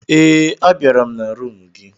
Ee, a bịara m na rumụ gị.